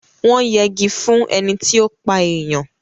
Wọ́n jegi fún ẹni tí ó pa èèyàn.